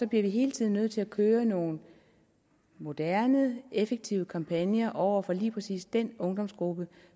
vi hele tiden nødt til at køre nogle moderne effektive kampagner over for lige præcis den ungdomsgruppe